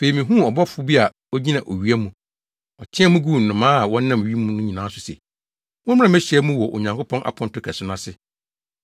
Afei, mihuu ɔbɔfo bi a ogyina owia mu. Ɔteɛɛ mu guu nnomaa a wɔnam wim nyinaa so se, “Mommra mmehyia mu wɔ Onyankopɔn aponto kɛse no ase.